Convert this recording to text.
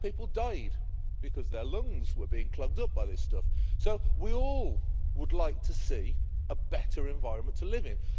People died because their lungs were being clogged up by this stuff. So we all would like to see a better environment to live in.